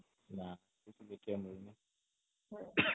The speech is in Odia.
ନା କିଛି ଦେଖିବାକୁ ମିଳୁନି